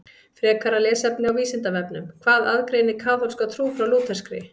Frekara lesefni á Vísindavefnum Hvað aðgreinir kaþólska trú frá lúterskri?